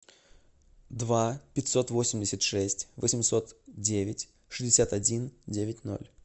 два пятьсот восемьдесят шесть восемьсот девять шестьдесят один девять ноль